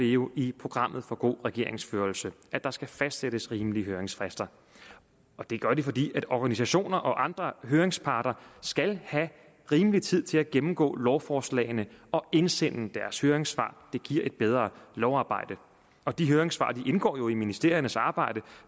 jo i programmet for god regeringsførelse at der skal fastsættes rimelige høringsfrister og det gør det fordi organisationer og andre høringsparter skal have rimelig tid til at gennemgå lovforslagene og indsende deres høringssvar det giver et bedre lovarbejde og de høringssvar indgår jo i ministeriernes arbejde